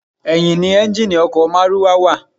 Ẹ̀yìn ni ẹ́ńjíìnnì ọkọ̀ márúwá wa.